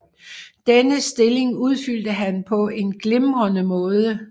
Denne stilling udfyldte han på en glimrende måde